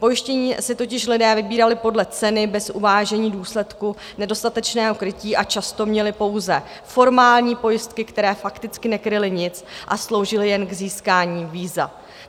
Pojištění si totiž lidé vybírali podle ceny bez uvážení důsledků nedostatečného krytí a často měli pouze formální pojistky, které fakticky nekryly nic a sloužily jen k získání víza.